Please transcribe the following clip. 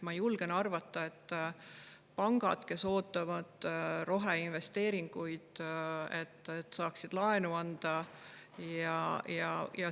Ma julgen arvata, et pangad ootavad roheinvesteeringuid, et nad saaksid laenu anda.